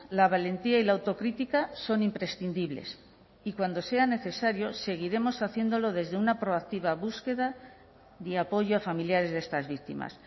la valentía y la autocrítica son imprescindibles y cuando sea necesario seguiremos haciéndolo desde una proactiva búsqueda de apoyo a familiares de estas víctimas